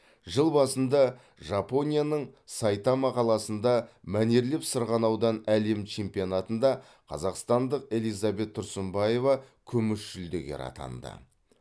жыл басында жапонияның сайтама қаласында мәнерлеп сырғанаудан әлем чемпионатында қазақстандық элизабет тұрсынбаева күміс жүлдегер атанды